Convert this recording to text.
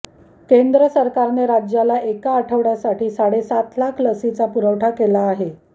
केंद्र सरकारने राज्याला एका आठवड्यासाठी साडे सात लाख लसीचा पुरवठा केला आहे